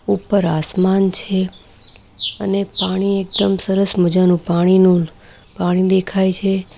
ઉપર આસમાન છે અને પાણી એકદમ સરસ મજાનું પાણીનું પાણી દેખાય છે.